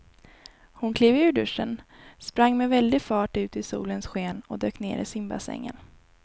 Hon klev ur duschen, sprang med väldig fart ut i solens sken och dök ner i simbassängen.